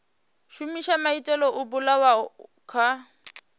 shumisa maitele o bulwaho kha